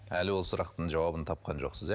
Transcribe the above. әлі ол сұрақтың жауабын тапқан жоқсыз иә